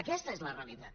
aquesta és la realitat